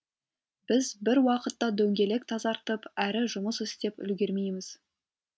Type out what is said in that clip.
біз бір уақытта дөңгелек тазартып әрі жұмыс істеп үлгермейміз